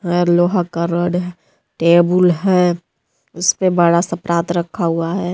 और लोहा का रोड है टेबुल है उस पे बड़ा सा परात रखा हुआ है।